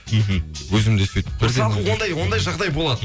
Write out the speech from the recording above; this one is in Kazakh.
мхм өзімде сөйтіп мысалғы ондай ондай жағдай болады